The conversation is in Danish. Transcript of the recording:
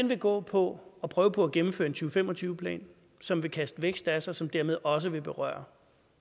vil gå på at prøve på at gennemføre en to fem og tyve plan som vil kaste vækst af sig og som dermed også vil berøre